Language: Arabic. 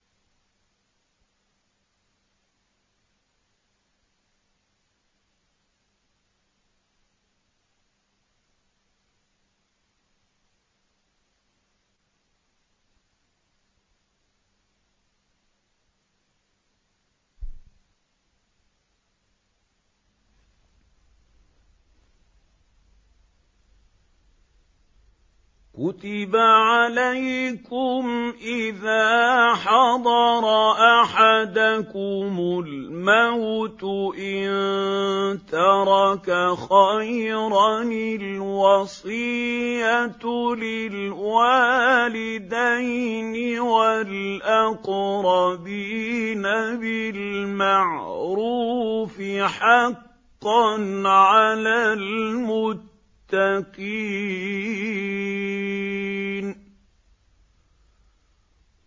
كُتِبَ عَلَيْكُمْ إِذَا حَضَرَ أَحَدَكُمُ الْمَوْتُ إِن تَرَكَ خَيْرًا الْوَصِيَّةُ لِلْوَالِدَيْنِ وَالْأَقْرَبِينَ بِالْمَعْرُوفِ ۖ حَقًّا عَلَى الْمُتَّقِينَ